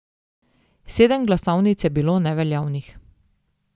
Sedem glasovnic je bilo neveljavnih.